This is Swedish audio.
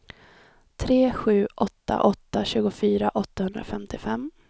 tre sju åtta åtta tjugofyra åttahundrafemtiofem